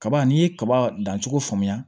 Kaba n'i ye kaba dan cogo faamuya